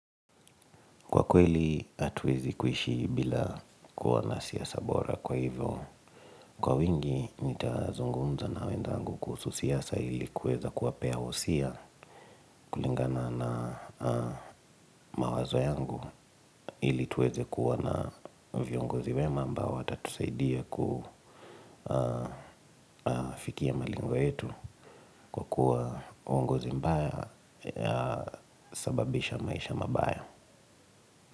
Kwa kweli hatuwezi kuishi bila kuwa na siasa bora kwa hivyo. Kwa wingi nitazungunza na wenzangu kuhusu siasa ili kuweza kuwapea wosia. Kulingana na mawazo yangu ili tuweze kuwa na viongozi wema ambao watatusaidia kufikia malengo yetu. Kwa kuwa uongozi mbaya husababisha maisha mabaya.